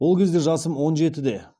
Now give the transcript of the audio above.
ол кезде жасым он жетіде